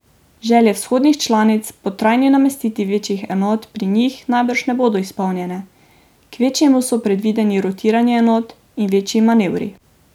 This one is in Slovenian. Želje vzhodnih članic po trajni namestitvi večjih enot pri njih najbrž ne bodo izpolnjene, kvečjemu so predvideni rotiranje enot in večji manevri.